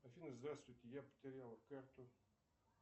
афина здравствуйте я потерял карту